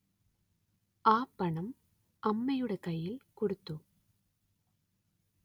ആ പണം അമ്മയുടെ കയ്യില്‍ കൊടുത്തു